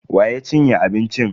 Wa ya cinye abincin?